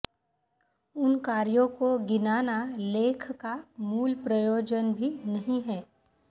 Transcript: उन कार्यों को गिनाना लेख का मूल प्रयोजन भी नहीं है